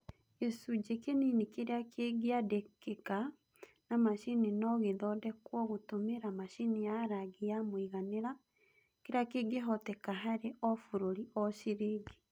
Gĩcunjĩ kĩnini kĩrĩa kĩngĩandĩkĩka na macini no gĩthondekwo gũtũmĩra machini ya rangi ya mũiganĩra kĩrĩa kĩngĩhoteka harĩ o bũrũri o ciringi